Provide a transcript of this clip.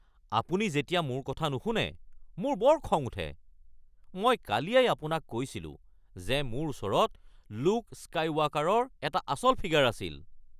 আপুনি যেতিয়া মোৰ কথা নুশুনে মোৰ বৰ খং উঠে। মই কালিয়েই আপোনাক কৈছিলো যে মোৰ ওচৰত লুক স্কাইৱাল্কাৰৰ এটা আচল ফিগাৰ আছিল। (বন্ধু ২)